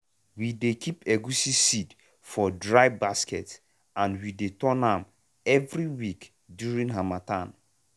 we dey keep egusi seed for dry basket and we dey turn am every week during harmattan.